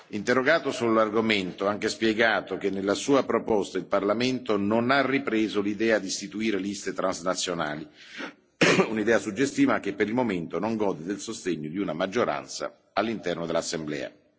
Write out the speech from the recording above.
Interrogato sull'argomento, ho anche spiegato che nella sua proposta il Parlamento non ha ripreso l'idea di istituire liste transnazionali, un'idea suggestiva ma che, per il momento, non gode del sostegno di una maggioranza all'interno dell'Assemblea.